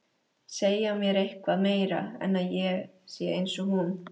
Segja mér eitthvað meira en að ég sé einsog hún.